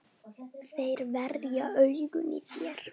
Þeir verða augun í þér.